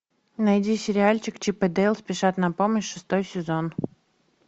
найди сериальчик чип и дейл спешат на помощь шестой сезон